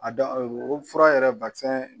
A dɔ o fura yɛrɛ